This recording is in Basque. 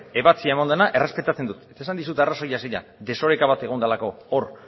ebatzia eman dena errespetatzen dut eta esan dizut arrazoia zein den desoreka bat egon delako hor